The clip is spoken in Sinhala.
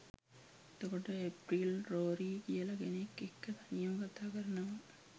එතකොට ඒප්‍රිල් රෝරි කියල කෙනෙක් එක්ක තනියම කතකරනවා